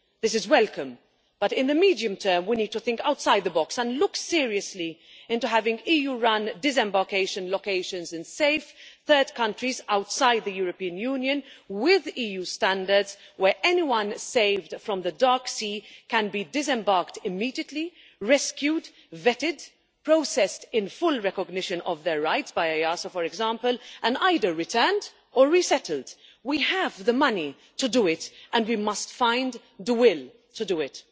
This is welcome, but in the medium term, we need to think outside the box and look seriously into having EU run disembarkation locations in safe third countries, with EU standards, where anyone saved from the dark sea can be disembarked immediately, rescued, vetted, processed in full recognition of their rights by EASO, for example and either returned or resettled. We have the money to do it and we must find the will to do it.